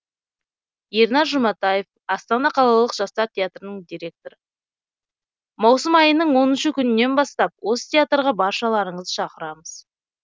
ернар жұматаев астана қалалық жастар театрының директоры маусым айының оныншы күнінен бастап осы театрға баршаларыңызды шақырамыз